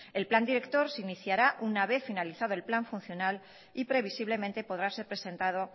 el plan director se iniciará una vez finalizado el plan funcional y previsiblemente podrá ser presentado